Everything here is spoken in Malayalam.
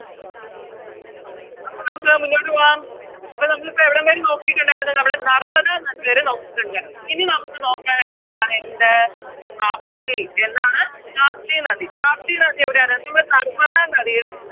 അപ്പോം നമുക്ക് മുന്നോട്ട് പോകാം അപ്പോ നമ്മളിപ്പോ എവിടം വരെ നോക്കിട്ടുണ്ടായിരുന്നു നമ്മള് നർമ്മദ നദിവരെ നോക്കിട്ടുണ്ടാരുന്നു എനി നമുക്ക് നോക്കാനായിട്ടുള്ളതാണ് എന്ത് താപ്തി എന്താണ് താപ്തി നദി താപ്തി നദി എവിടെയാണ് നിങ്ങള് നർമ്മദ നദിയുടെ